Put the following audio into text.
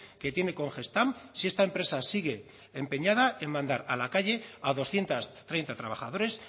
que tiene con gestamp si esta empresa sigue empeñada en mandar a la calle a doscientos treinta trabajadores